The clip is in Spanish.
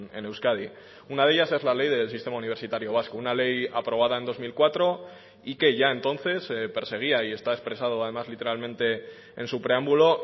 en euskadi una de ellas es la ley del sistema universitario vasco una ley aprobada en dos mil cuatro y que ya entonces perseguía y está expresado además literalmente en su preámbulo